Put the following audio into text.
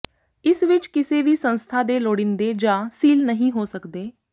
ਇਸ ਵਿਚ ਕਿਸੇ ਵੀ ਸੰਸਥਾ ਦੇ ਲੋੜੀਂਦੇ ਜਾਂ ਸੀਲ ਨਹੀਂ ਹੋ ਸਕਦੇ